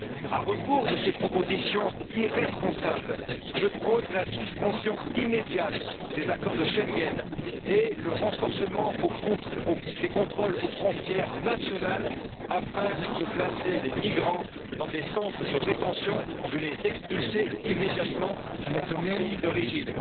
À rebours de ces propositions irresponsables, je prône la suspension immédiate des accords de Schengen et le renforcement des contrôles aux frontières nationales, afin de placer les migrants dans des centres de rétention et de les expulser immédiatement vers leur pays d'origine.